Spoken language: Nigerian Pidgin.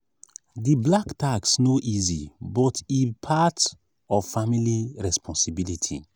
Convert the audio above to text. di black tax no dey easy but e part of family responsibility.